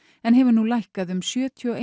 en hefur nú lækkað um sjötíu og